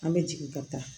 An bɛ jigin ka taa